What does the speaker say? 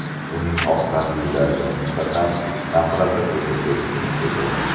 Uning oq tanlilarga nisbatan nafrati o‘ta keskin edi.